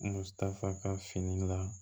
Musaka fini la